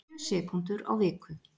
Sjö sekúndur á viku